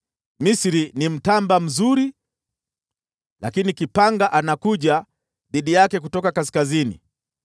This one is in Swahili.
“Misri ni mtamba mzuri, lakini kipanga anakuja dhidi yake kutoka kaskazini.